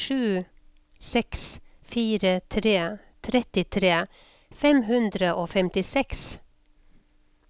sju seks fire tre trettitre fem hundre og femtiseks